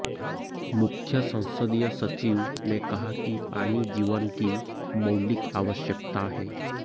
मुख्य संसदीय सचिव ने कहा कि पानी जीवन की मौलिक आवश्यकता है